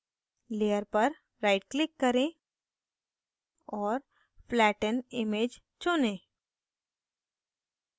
layer पर right click करें और flatten image चुनें